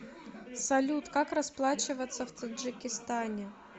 салют как расплачиваться в таджикистане